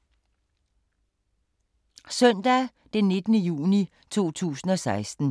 Søndag d. 19. juni 2016